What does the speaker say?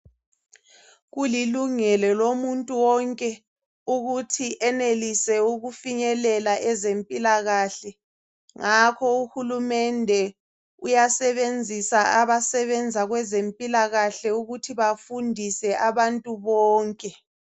Kulilungelo lomuntu wonke ukuthi enelise ukufinyelela ezempilakahle lapho uhulumende uyasebenzisa abasebenza kwezempilakahle ukuthi bafundise abantu bonke